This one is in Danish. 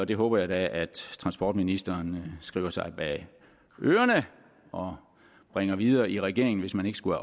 det håber jeg da at transportministeren skriver sig bag øret og bringer videre i regeringen hvis man ikke skulle